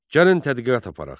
Gəlin tədqiqat aparaq.